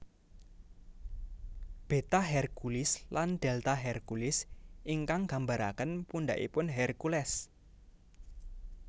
Beta Herculis lan Delta Herculis ingkang gambaraken pundhakipun Hercules